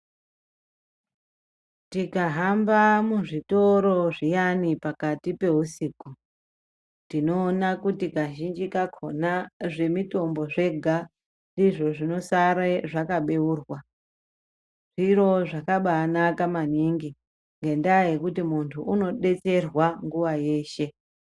Tikahamba muzvitoro zviyani pakati peusiku tinoona kuti kazhinji kakhona zvemitombo zvega ndizvo zvinosare zvakabheurwa zviro zvakabanaka maningi ngendaa yekuti muntu unodetserwa nguwa yeshe.